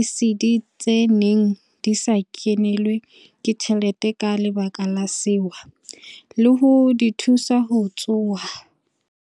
ECD tse neng di sa kenelwe ke tjhelete ka lebaka la sewa, le ho di thusa ho tsoha.